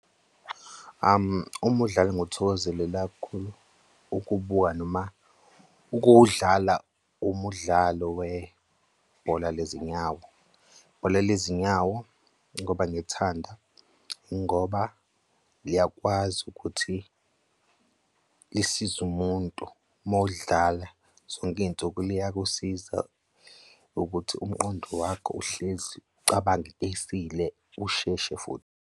Umudlalo engiwuthokozelela kakhulu ukuwubuka noma ukuwudlala, umudlalo webhola lezinyawo. Ibhola lezinyawo, ngoba ngithanda ingisho liyakwazi ukuthi lisize umuntu uma uwudlala zonke iy'nsuku liyakusiza ukuthi umqondo wakho uhlezi ucabange into esile, usheshe futhi.